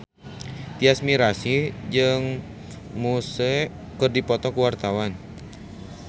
Tyas Mirasih jeung Muse keur dipoto ku wartawan